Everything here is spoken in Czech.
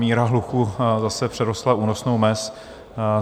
Míra hluku zase přerostla únosnou mez.